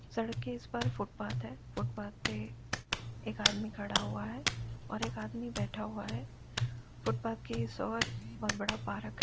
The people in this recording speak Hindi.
सड़क के इस पार फुटपाथ है। फुटपाथ पे एक आदमी खड़ा हुआ है और एक आदमी बैठा हुआ है। फुटपाथ के इस ओर बहोत बड़ा पार्क --